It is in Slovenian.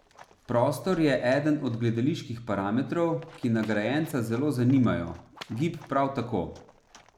Prostor je eden od gledaliških parametrov, ki nagrajenca zelo zanimajo, gib prav tako.